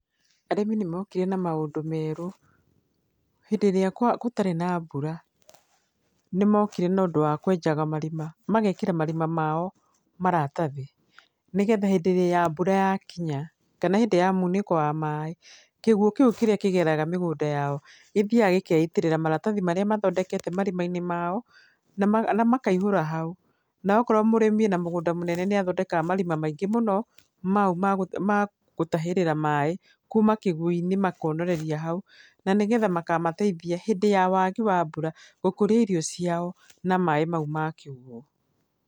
Arĩmi nĩ mokire na maũndũ merũ. Hĩndĩ ĩrĩa gũtarĩ na mbura nĩ mokire na ũndũ wa kwenjaga marima, magekĩra marima mao maratathi, nĩgetha hĩndĩ ĩrĩa mbura yakinya kana hĩndĩ ya munĩko wa maĩ, kĩguũ kĩu kĩrĩa kĩgeraga mĩgũnda yao, gĩthiaga gĩkeitĩrĩra maratathi marĩa mathondeke marima-inĩ mao na makaihũra hau na akorwo mũrĩmi ena mũgũnda mũnene nĩ athondekaga marima maingĩ mũno ma u ma gũtahĩrĩra maĩ kuma kĩguũ-inĩ makonereria hau na nĩgetha makamateithia hĩndĩ ya wagi wa mbura gũkũria irio ciao na maĩ mau ma kĩguũ.